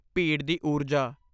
ਭੀੜ ਦੀ ਊਰਜਾ!